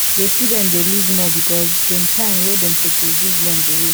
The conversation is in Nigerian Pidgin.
the student dey lose more because dem time wey dem suppose use learn go waste